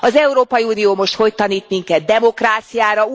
Az Európai Unió most hogy tanít minket demokráciára?